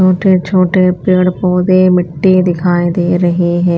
छोटे छोटे पेड़ पौधे मिट्टी दिखाई दे रही हैं।